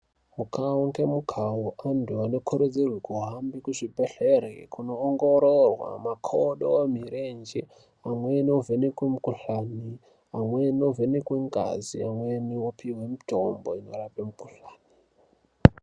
Mukavo ngemukavo antu anokurudzirwe kuhambe kuzvibhedhere kunoongororwa makodo, mirenje. Amweni ovhenekwe mukuhlani, amweni ovheneke ngazi, amwe opihwe mitombo inorape mikuhlani.